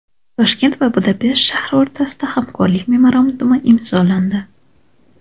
Toshkent va Budapesht shahri o‘rtasida hamkorlik memorandumi imzolandi.